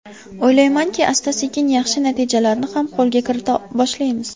O‘ylaymanki, asta-sekin yaxshi natijalarni ham qo‘lga kirita boshlaymiz.